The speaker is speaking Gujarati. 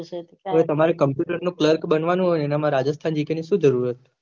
હવે તમારે કોમ્પુટરનું કલર્ક બનવાનું હોય એના માં rajasthangk નું શું જરૂર છે